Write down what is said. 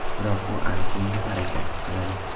Biroq u aniq bunga harakat qiladi.